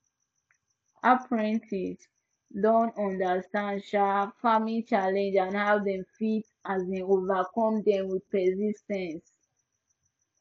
apprentices don understand um farming challenges and how dem fit um overcome them with persis ten ce